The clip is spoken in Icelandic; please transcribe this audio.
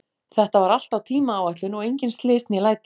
Þetta var allt á tímaáætlun og engin slys né læti.